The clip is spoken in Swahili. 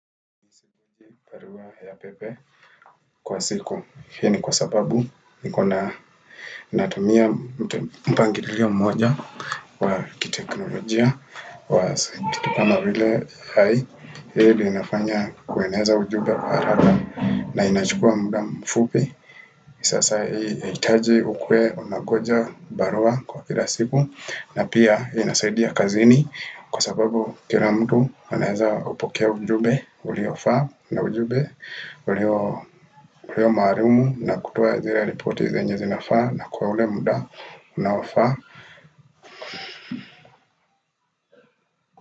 Kwa siku, hiini kwa sababu nikonatumia mpangililio mmoja wa kiteknolojia wa saa hizi kama wile hai, hii inafanya kueneza ujumbe kwa haraka na inachukua muda mfupi. Sasa hii inahitaji ukuwe unangoja barua kwa kila siku na pia inasaidia kazini kwa sababu kila mtu anaeeza hupokea ujumbe uliofaa na ujumbe ulio pewa maarumu na kutoa zile ripoti zenye zinafaa na kwa ule muda unaofaa.